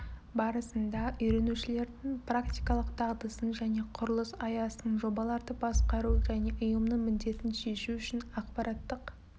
барысында үйренушілердің практикалық дағдысын және құрылыс аясында жобаларды басқару және ұйымның міндетін шешу үшін ақпараттық